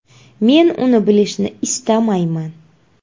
Men uni bilishni istamayman.